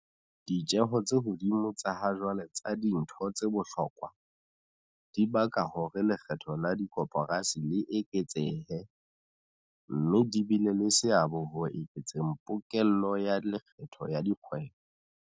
Ditjeo tse hodimo tsa ha jwale tsa dintho tse bohlokwa, dibaka hore lekgetho la dikoporasi le eketsehe, mme di bile le seabo ho eketseng pokello ya lekgetho ya dikgwebo.